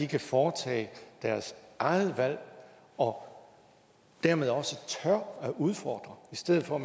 kan foretage deres eget valg og dermed også tør udfordre i stedet for